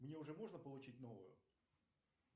мне уже можно получить новую